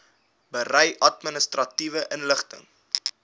berei administratiewe inligting